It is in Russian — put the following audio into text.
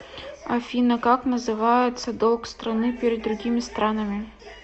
афина как называется долг страны перед другими странами